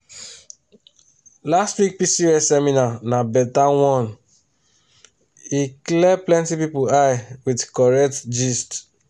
last week pcos seminar na better one e clear plenty people eye with correct gist.